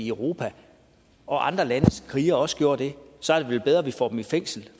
europa og at andre landes krigere også gør det så er det vel bedre at vi får dem i fængsel